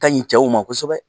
Ka ɲi cɛw ma kosɛbɛ